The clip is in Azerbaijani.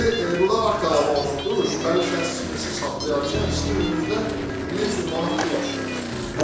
Sizi burda akta alınıbdır, şübhəli şəxs kimi sizi saxlayarkən sizin özünüzdən 1300 manat pul aşkar olub.